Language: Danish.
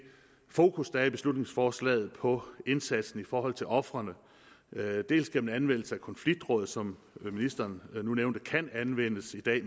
fokus der er i beslutningsforslaget på indsatsen i forhold til ofrene dels gennem anvendelse af konfliktråd som ministeren nu nævnte kan anvendes i dag